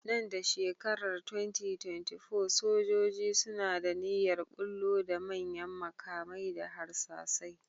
Nan da shekarar 2024, sojoji suna da niyyar ɓullo da manyan maƙamai da harsasai.